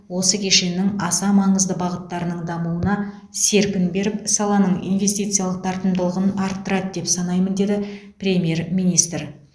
осы кешеннің аса маңызды бағыттарының дамуына серпін беріп саланың инвестициялық тартымдылығын арттырады деп санаймын деді премьер министр